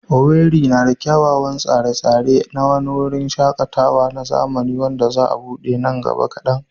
Owerri na da kyawawan tsare-tsare na wani wurin shaƙatawa na zamani wanda za a buɗe nan gaba kadan.